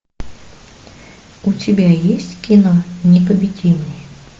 у тебя есть кино непобедимый